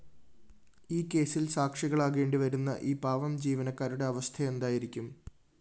ഈ കേസില്‍ സാക്ഷികളാകേണ്ടിവരുന്ന ഈ പാവം ജീവനക്കാരുടെ അവസ്ഥയെന്തായിരിക്കും